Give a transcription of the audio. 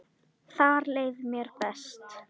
Þar leið mér best.